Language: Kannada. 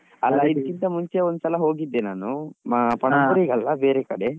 ಇದ್ಕಿಂತ ಮುಂಚೆ ಒಂದ್ಸಲ ಹೋಗಿದ್ದೆ ನಾನು ಅಲ್ಲ ಬೇರೆ ಕಡೆ.